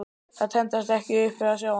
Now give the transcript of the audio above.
Þær tendrast ekki upp við að sjá hann.